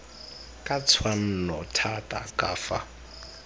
ka tshwanno thata ka fa